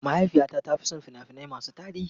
Mahaifiyata ta fi son fina-finai masu tarihi.